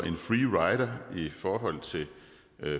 en free rider i forhold til